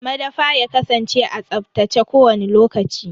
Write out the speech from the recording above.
Madafa ya kasance a tsaftace kowani lokaci.